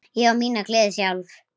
Ég á mína gleði sjálf.